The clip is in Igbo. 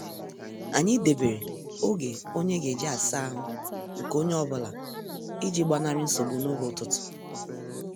Anyị debere oge onye ga-eji asaa ahụ nke onye ọ bụla iji gbanari nsogbu n' oge ụtụtụ.